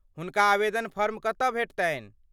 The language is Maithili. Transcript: हुनका आवेदन फॉर्म कतऽ भेटतनि?